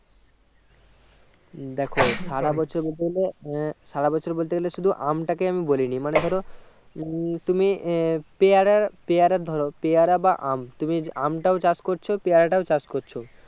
দেখো সারা বছর বলতে গেলে আহ সারা বছর বলতে গেলে শুধু আম টাকে আমি বলিনি মানে ধরো ই তুমি আহ পেয়ারার ধরো পেয়ারা বা আম তুমি আমটাও চাষ করছো পেয়ারাটাও চাষ করছো